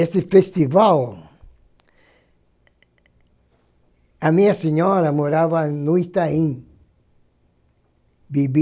Esse festival... A minha senhora morava no Itaim Bibi.